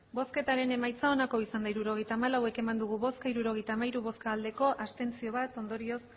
hirurogeita hamalau eman dugu bozka hirurogeita hamairu bai bat abstentzio ondorioz